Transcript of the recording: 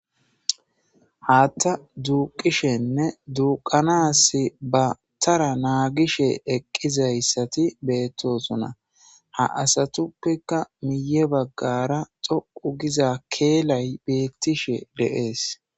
Haatta duuqishenne duuqanas ba tara naagishe eqqizayssati beettosuna ha asatuppeka miye baggara xoqu giza keelay beettishe deees.